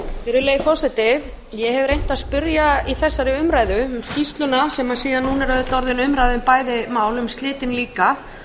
virðulegi forseti ég hef reynt að spyrja í þessari umræðu um skýrsluna sem síðan núna sem er síðan núna orðin umræða um bæði mál um slitin líka